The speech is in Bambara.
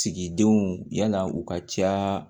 Sigidenw yann'aw ka ca